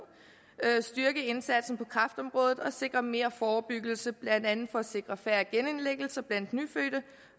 styrke indsatsen på kræftområdet og sikre mere forebyggelse blandt andet for at sikre færre genindlæggelser blandt nyfødte